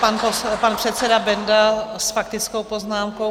Pan předseda Benda s faktickou poznámkou.